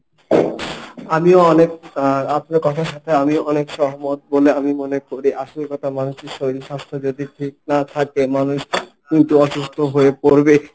আমিও অনেক আহ আপনার কথার সাথে আমিও অনেক সহমত বলে আমি মনে করি। আসল কথা মানুষের শরীর স্বাস্থ্য যদি ঠিক না থাকে মানুষ কিন্তু অসুস্থ হয়ে পড়বে।